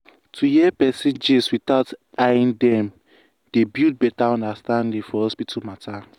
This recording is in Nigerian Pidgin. to hear person gist without eyeing dem dey build better understanding for hospital matter.